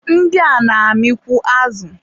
ndị a na-amịkwu azụ.